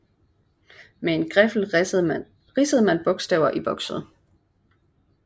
Med en griffel ridsede man bogstaver i vokset